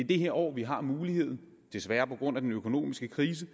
det her år vi har muligheden desværre på grund af den økonomiske krise